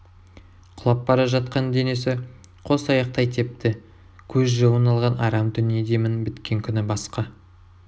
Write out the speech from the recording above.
құлап бара жатқан денені қос аяқтай тепті көз жауын алған арам дүние демің біткен күні басқа